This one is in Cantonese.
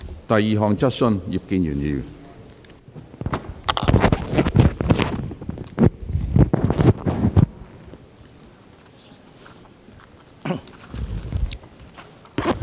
第二項質詢。